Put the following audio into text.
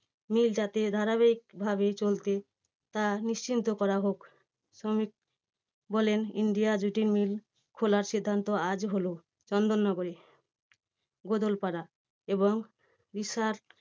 Mill টা তে ধারাবাহিক ভাবে চলতে তা নিশ্চিন্ত করা হোক। শ্রমিক বলেন India jute mill খোলার সিদ্ধান্ত আজ হলো চন্দননগরে গদলপাড়া এবং রিষড়ার